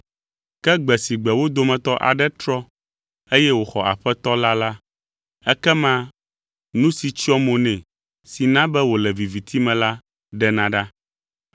Ke gbe si gbe wo dometɔ aɖe trɔ eye wòxɔ Aƒetɔ la la, ekema nu si tsyɔ mo nɛ si na be wòle viviti me la, ɖena ɖa.